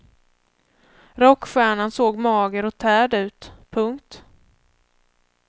Rockstjärnan såg mager och tärd ut. punkt